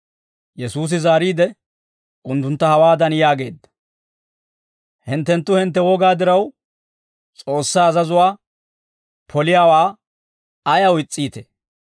Yesuusi zaariide, unttuntta hawaadan yaageedda; «Hinttenttu hintte wogaa diraw, S'oossaa azazuwaa poliyaawaa ayaw is's'iitee?